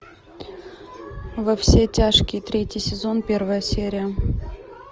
во все тяжкие третий сезон первая серия